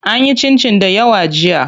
An yi cincin dayawa jiya.